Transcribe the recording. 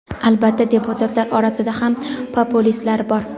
Albatta, deputatlar orasida ham populistlari bor.